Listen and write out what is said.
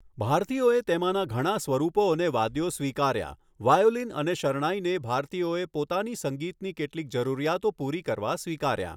ભારતીયોએ તેમાંના ઘણાં સ્વરૂપો અને વાદ્યો સ્વીકાર્યાં. વાયોલીન અને શરણાઈને ભારતીયોએ પોતાની સંગીતની કેટલીક જરૂરીયાતો પૂરી કરવા સ્વીકાર્યાં.